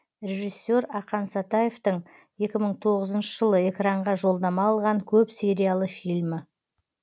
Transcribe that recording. режиссер ақан сатаевтың екі мың тоғызыншы жылы экранға жолдама алған көп сериалы фильмі